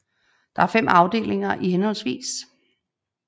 Der er 5 afdelinger i hhv